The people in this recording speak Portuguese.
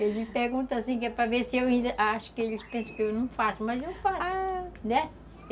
Eles perguntam assim, que é para ver se eu ainda... Acho que eles pensam que eu não faço, ah, mas eu faço, né?